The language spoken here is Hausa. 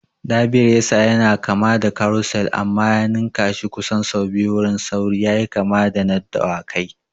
Derby Racer yana kama da Carousel amma ya ninnkashi kusan sau biyu wurin sauri yayi kama da na dawakai.